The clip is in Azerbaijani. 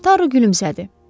Taro gülümsədi.